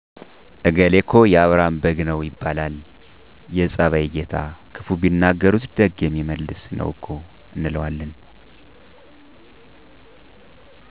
እገሌ እኮ የአብርሀም በግ ነው ይባላል። የፀባዩ ጌታ ክፉ ቢናገሩት ደግ የሚመልስ ነው እኮ እንለዋለን።